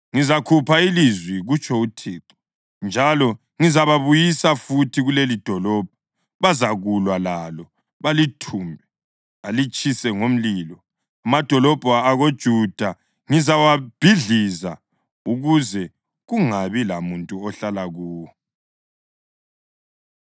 Ngizakhupha ilizwi, kutsho uThixo njalo ngizababuyisa futhi kulelidolobho. Bazakulwa lalo, balithumbe, balitshise ngomlilo. Amadolobho akoJuda ngizawabhidliza ukuze kungabi lamuntu ohlala kuwo.”